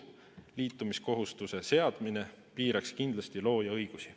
Liitumiskohustuse seadmine piiraks kindlasti looja õigusi.